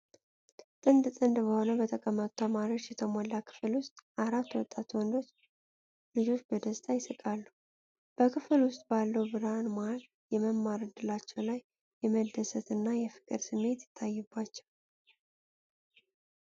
ጥንድ ጥንድ ሆነው በተቀመጡ ተማሪዎች የተሞላው ክፍል ውስጥ፤ አራት ወጣት ወንዶች ልጆች በደስታ ይስቃሉ። በክፍል ውስጥ ባለው ብርሃን መሀል የመማር እድላቸው ላይ የመደሰትና የፍቅር ስሜት ይታይባቸዋል።